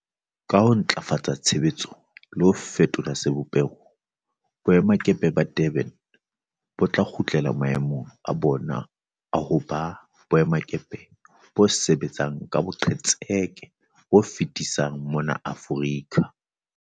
Ka ho ntlafatsa tshebetso le ho fetola sebopeho, boemakepe ba Durban bo tla kgutlela mae mong a bona a ho ba boemakepe bo sebetsang ka boqetseke bo fetisisang mona Aforika.